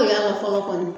O y'a fɔlɔ kɔni